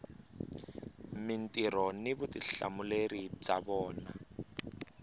mintirho ni vutihlamuleri bya vona